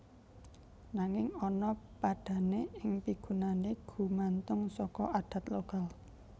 Nanging ana padhané ing pigunané gumantung saka adat lokal